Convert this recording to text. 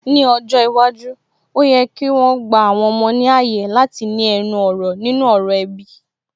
Ní ọjọ́ iwájú, ó yẹ kí wọn gba àwọn ọmọ náà ní ààyè láti ní ẹnu ọ̀rọ̀ nínú ọ̀rọ̀ ẹbí